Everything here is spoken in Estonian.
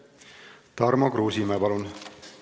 Tarmo Kruusimäe, palun!